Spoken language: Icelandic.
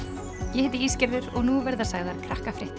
ég heiti og nú verða sagðar